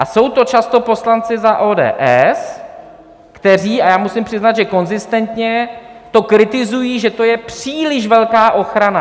A jsou to často poslanci za ODS, kteří, a já musím přiznat, že konzistentně, to kritizují, že to je příliš velká ochrana.